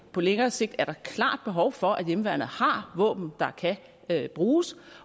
på længere sigt er der klart behov for at hjemmeværnet har våben der kan bruges